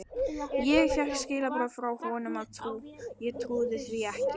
Ég fékk skilaboð frá honum og ég trúði því ekki.